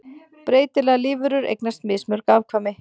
Breytilegar lífverur eignast mismörg afkvæmi.